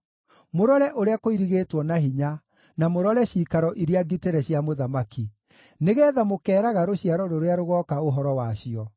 mũrore ũrĩa kũirigĩtwo na hinya, na mũrore ciikaro iria ngitĩre cia mũthamaki, nĩgeetha mũkeeraga rũciaro rũrĩa rũgooka ũhoro wacio.